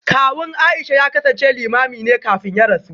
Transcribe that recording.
Kawun Aisha ya kasance Limamin ne kafin ya rasu